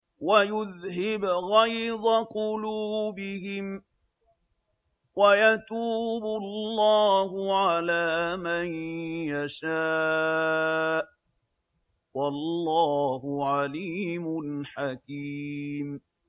وَيُذْهِبْ غَيْظَ قُلُوبِهِمْ ۗ وَيَتُوبُ اللَّهُ عَلَىٰ مَن يَشَاءُ ۗ وَاللَّهُ عَلِيمٌ حَكِيمٌ